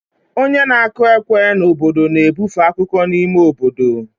Onye na-akụ ekwe n'obodo na-ebufe akụkọ n'ime obodo.